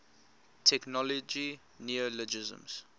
technology neologisms